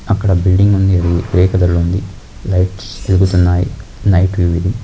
అక్కడ బిల్డింగ్ ఉంది. అది గ్రెయ్ కలర్ ఉంది. లైట్స్ ఎలుగుతున్నై నైట్ ఇది--